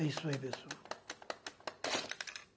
É isso aí, pessoal.